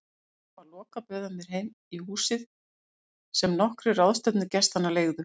Þegar barnum var lokað bauð hann mér heim í húsið sem nokkrir ráðstefnugestanna leigðu.